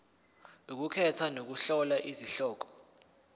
ukukhetha nokuhlola izihloko